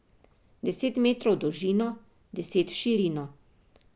Deset metrov v dolžino, deset v širino.